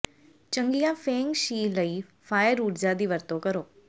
ਚੰਗੀਆਂ feng shui fire ਫਾਇਰ ਊਰਜਾ ਦੀ ਵਰਤੋਂ ਕਰੋ